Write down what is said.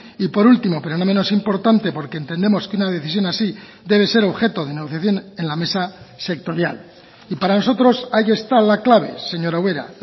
y por último pero no menos importante porque entendemos que una decisión así debe ser objeto de negociación en la mesa sectorial y para nosotros ahí está la clave señora ubera